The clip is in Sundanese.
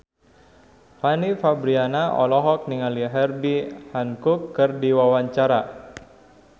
Fanny Fabriana olohok ningali Herbie Hancock keur diwawancara